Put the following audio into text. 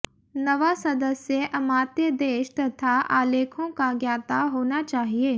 नवां सदस्य अमात्य देश तथा आलेखों का ज्ञाता होना चाहिए